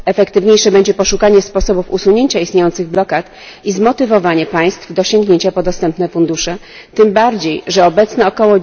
Efektywniejsze będzie poszukanie sposobów usunięcia istniejących blokad i zmotywowanie państw do sięgnięcia po dostępne fundusze, tym bardziej, że obecne ok.